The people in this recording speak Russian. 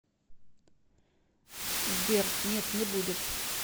сбер нет не будет